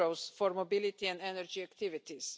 for mobility and energy activities.